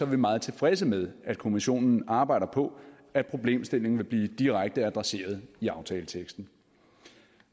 vi meget tilfredse med at kommissionen arbejder på at problemstillingen vil blive direkte adresseret i aftaleteksten